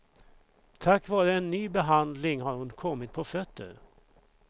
Tack vare en ny behandling har hon kommit på fötter.